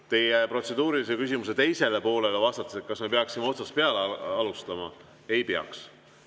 Vastan teie protseduurilise küsimuse teisele poolele, kas me peaksime otsast peale alustama: ei peaks.